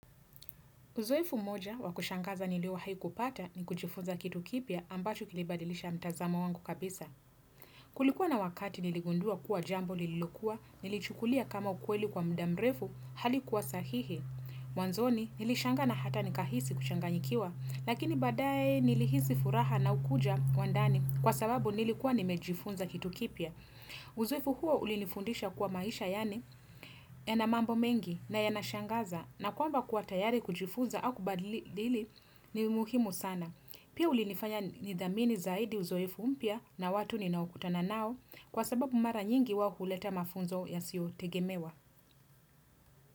Uzoefu moja wakushangaza niliowahi ku pata ni kujifunza kitu kipia ambacho kilibadilisha mtazamo wangu kabisa. Kulikuwa na wakati niligundua kuwa jambo lililokuwa, nilichukulia kama ukweli kwa mda mrefu, halikuwa sahihi. Wanzoni nilishangaa na hata nikahisi kuchanganyikiwa, lakini baadae nilihisi furaha na ukuja wa ndani kwa sababu nilikuwa nimejifunza kitu kipia. Uzoefu huo ulinifundisha kuwa maisha yani ya na mambo mengi na ya na shangaza na kwamba kuwa tayari kujifuza au kubadili ni muhimu sana Pia ulinifanya nidhamini zaidi uzoefu mpya na watu ni naokutana nao kwa sababu mara nyingi wao huleta mafunzo ya siyo tegemewa.